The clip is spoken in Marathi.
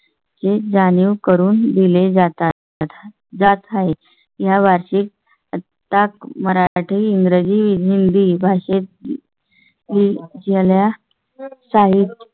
जाणीव करून दिले जातात जात आहे. या वार्षिक आता मराठी, इंग्रजी व हिंदी भाषेत. झाल्या साहिब